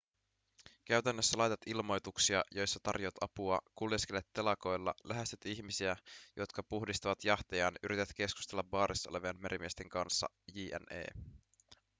käytännössä laitat ilmoituksia joissa tarjoat apua kuljeskelet telakoilla lähestyt ihmisiä jotka puhdistavat jahtejaan yrität keskustella baarissa olevien merimiesten kanssa jne